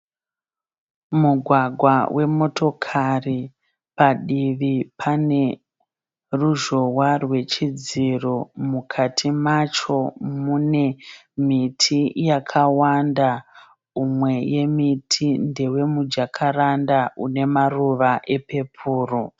Mugwagwa wemotokari, padivi paneruzhowa rwechidziro, mukati macho mune miti yakawanda umwe yemiti ndewemujakaranda unemaruva wepeporo.